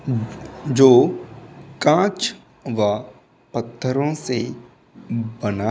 जो कांच वा पत्थरो से बना --